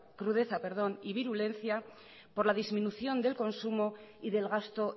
crudeza y virulencia por la disminución del consumo y del gasto